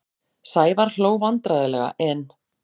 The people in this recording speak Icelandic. Sævar hló vandræðalega en